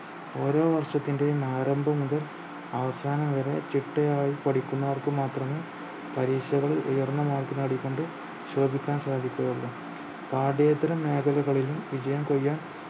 ഓരോ വര്ഷത്തിന്റെയും ആരംഭം മുതൽ അവസാനം വരെ ചിട്ടയായി പഠിക്കുന്നവർക്ക് മാത്രമേ പരീക്ഷകളിൽ ഉയർന്ന mark നേടിക്കൊണ്ട് ശോഭിക്കാൻ സാധിക്കുകയുള്ളു പാഠ്യേതര മേഖലകളിലും വിജയം കൊയ്യാൻ